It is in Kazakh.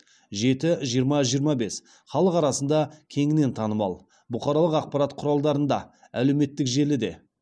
жеті жиырма жиырма бес халық арасында кеңінен танымал бұқаралық ақпарат құралдарында әлеуметтік желіде